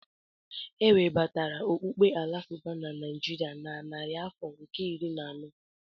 E webatara okpukpe Alakụba na Naijiria na narị afọ nke iri na anọ.